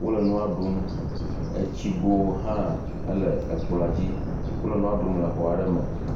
Wole nua ɖum eye tsigo hã le kplɔ̃a dzi. Wole nua ɖum le xɔ aɖe me.